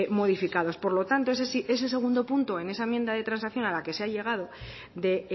modificados por lo tanto ese sí ese segundo punto en esa enmienda de transacción a la que se ha llegado de